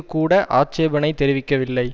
கூட ஆட்சேபனை தெரிவிக்கவில்லை